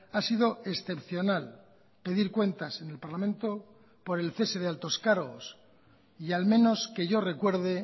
ha sido excepcional pedir cuentas en el parlamento por el cese de altos cargos y al menos que yo recuerde